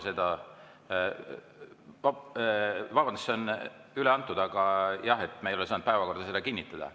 See on üle antud, aga jah, me ei ole saanud seda päevakorda kinnitada.